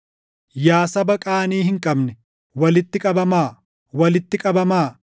Yaa saba qaanii hin qabne, walitti qabamaa; walitti qabamaa;